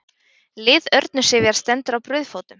Lið Örnu Sifjar stendur á brauðfótum